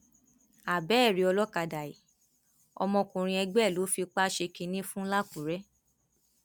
abẹẹ rí olókàdá yìí ọmọkùnrin ẹgbẹ ẹ ló fipá ṣe kínní fún làkùrẹ